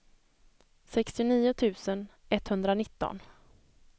sextionio tusen etthundranitton